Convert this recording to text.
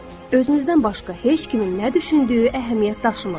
Özünüzdən başqa heç kimin nə düşündüyü əhəmiyyət daşımır.